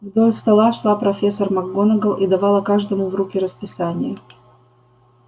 вдоль стола шла профессор макгонагалл и давала каждому в руки расписание